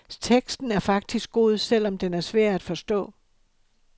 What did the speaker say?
Teksten er faktisk god, selv om den er svær at forstå.